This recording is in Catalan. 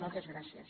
moltes gràcies